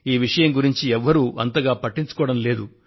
ఈ విషయం గురించి ఎవరూ అంతగా పట్టించుకోవడం లేదు